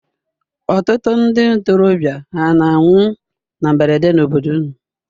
Ọtụtụ ndị ntorobịa hà na-anwụ na mberede n'obodo unu?